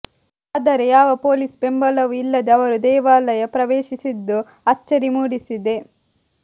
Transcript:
ಆದರೆ ಯಾವ ಪೊಲೀಸ್ ಬೆಂಬಲವೂ ಇಲ್ಲದೆ ಅವರು ದೇವಾಲಯ ಪ್ರವೇಶಿಸಿದ್ದು ಅಚ್ಚರಿ ಮೂಡಿಸಿದೆ